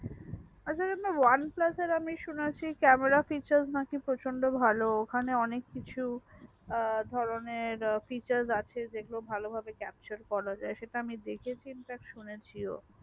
আচ্ছা যে আপনার oneplus আর আমি শুনেছি camera future নাকি প্রচন্ড ভালো ওখানে অনেক কিছু আ ধরণের future আছে সেগুলো ভালো ভাবে capture করা যাই